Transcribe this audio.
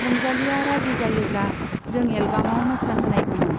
रंजालीया राजि जायोब्ला जों एलबामाव मोसा होनायगैमोन।